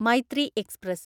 Maitree express